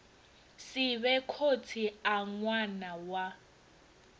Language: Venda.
sivhe khotsi a ṅwana wa